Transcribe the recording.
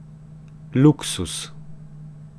Luksuz.